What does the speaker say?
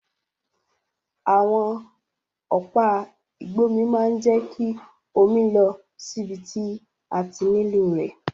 Àwon ọ̀pá ìgbómi ma n je ki omi lọ síbi ti a ti nílò rẹ̀